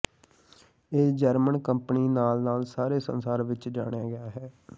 ਇਹ German company ਨਾਲ ਨਾਲ ਸਾਰੇ ਸੰਸਾਰ ਵਿੱਚ ਜਾਣਿਆ ਗਿਆ ਹੈ